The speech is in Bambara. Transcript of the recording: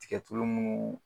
Tiga tulu munnu